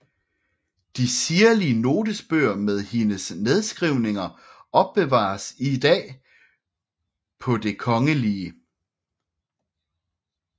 De sirlige notesbøger med hendes nedskrivninger opbevares i dag på Det Kgl